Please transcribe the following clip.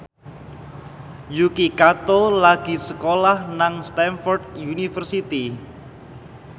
Yuki Kato lagi sekolah nang Stamford University